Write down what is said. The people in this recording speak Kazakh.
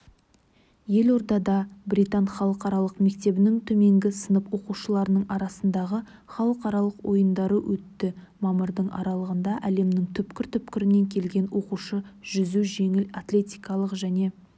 елордада британ халықаралық мектебінің төменгі сынып оқушыларының арасындағы халықаралық ойындары өтті мамырдың аралығында әлемнің түкпір-түкпірінен келген оқушы жүзу жеңіл атлетика және